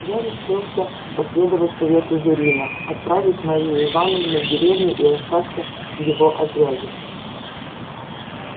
я решился последовать совету зурина отправить марью ивановну в деревню и остаться в его отряде